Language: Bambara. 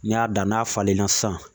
N'i y'a dan n'a falenna sisan